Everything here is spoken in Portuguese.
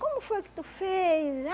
Como foi que tu fez?